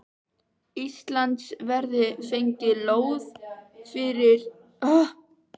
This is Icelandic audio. Íslands verði fengin lóð undir fyrirhugaðar byggingar sínar sunnan